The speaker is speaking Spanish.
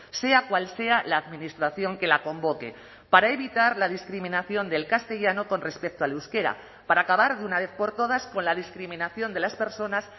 sea cual sea la administración que la convoque para evitar la discriminación del castellano con respecto al euskera para acabar de una vez por todas con la discriminación de las personas